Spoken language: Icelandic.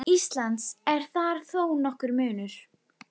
Íslands er þar þó nokkur munur.